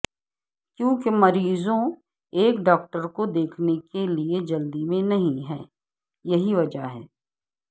کیونکہ مریضوں ایک ڈاکٹر کو دیکھنے کے لئے جلدی میں نہیں ہیں یہی وجہ ہے